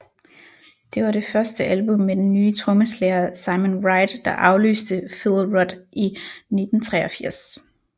Det var det første album med den nye trommeslager Simon Wright der afløste Phil Rudd i 1983